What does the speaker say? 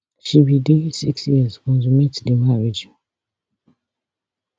she be dey six years consummate di marriage